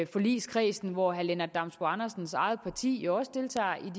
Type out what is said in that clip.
forligskredsen hvor herre lennart damsbo andersens eget parti jo også